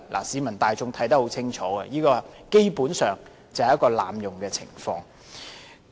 市民大眾看得清楚，這基本上是濫用會議程序。